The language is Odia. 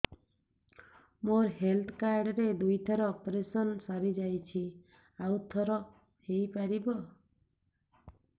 ମୋର ହେଲ୍ଥ କାର୍ଡ ରେ ଦୁଇ ଥର ଅପେରସନ ସାରି ଯାଇଛି ଆଉ ଥର ହେଇପାରିବ